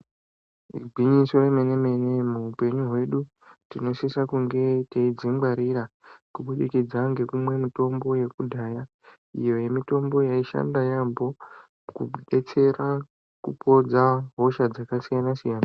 Igwinyiso yemenemene muupenyu hwedu tinosisa kunge teidzingwarira kubudikidza ngekumwa mitombo yekudhaya iyo mitombo yaishanda yaambo kudetsera kupodza hosha dzakasiyanasiyana .